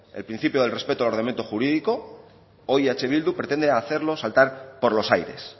el principio del respeto del ordenamiento jurídico hoy eh bildu pretende hacerlo saltar por los aires